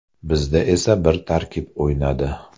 Bizda esa bir tarkib o‘ynadi.